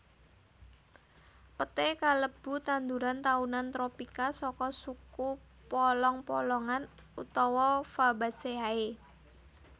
Peté kalebu tanduran taunan tropika saka suku polong polongan utawa Fabaceae